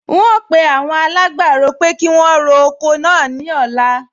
N óò pe awon alágbàro pé kí wọn ro oko náà ní ọ̀la